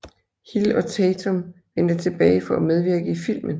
Hill og Tatum vendte tilbage for at medvirke i filmen